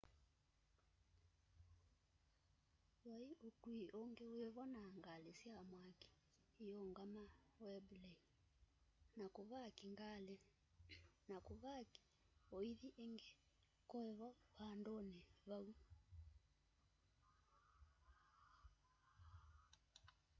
vai ukui ungi wivo na ngali sya mwaki iyungama wembley na kuvaki ngali na kuvaki uithi ingi kuivo vanduni vau